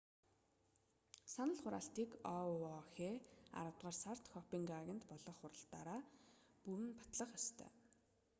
санал хураалтыг оуох аравдугаар сард копенгагенд болох хурлаараа бүрэн батлах ёстой